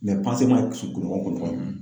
be ci kunɲɔgɔn kunɲɔgɔn de.